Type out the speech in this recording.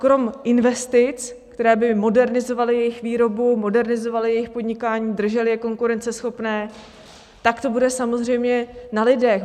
Kromě investic, které by modernizovaly jejich výrobu, modernizovaly jejich podnikání, držely je konkurenceschopné, tak to bude samozřejmě na lidech.